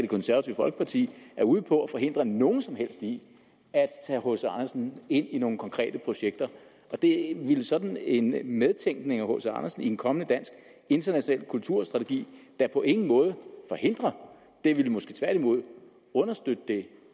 konservative folkeparti er ude på at forhindre nogen som helst i at tage hc andersen ind i nogle konkrete projekter det ville sådan en medtænkning af hc andersen i en kommende dansk international kulturstrategi da på ingen måde forhindre det ville måske tværtimod understøtte det